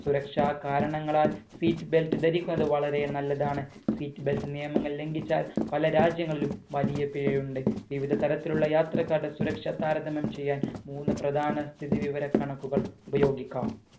സുരക്ഷാ കാരണങ്ങളാൽ seat belt ധരിക്കുന്നത് വളരെ നല്ലതാണ് seat belt നിയമങ്ങൾ ലംഗിച്ചാൽ പല രാജ്യങ്ങളിലും വലിയ പിഴയുണ്ട് വിവിധ തരത്തിലുള്ള യാത്രക്കാരുടെ സുരക്ഷ താരതമ്യം ചെയ്യാൻ മൂന്ന് പ്രധാന സ്ഥിതി വിവര കണക്കുകൾ ഉപയോഗിക്കാം